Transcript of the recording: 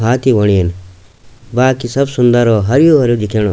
हाथी होण येन बाकी सब सुन्दर और हरयूं भरयूं दिखेणु।